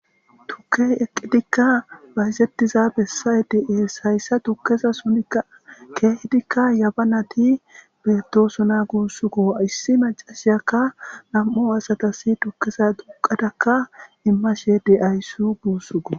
tukey eqqidikka baysettiza bessay de7ees hayssa dukkeza sunika keehdikka yaba nati beettosona guussuko issi macashiyakka nam7o asatasi tukkeza duqadakka immashe deayssu guussugo